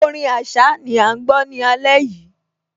Orin Àṣá ni à ń gbọ́ ní alẹ́ yìí